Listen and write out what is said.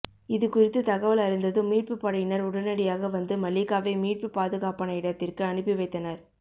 இதுகுறித்து தகவல் அறிந்ததும் மீட்பு படையினர் உடனடியாக வந்து மல்லிகாவை மீட்டு பாதுகாப்பான இடத்திற்கு அனுப்பி வைத்தனர்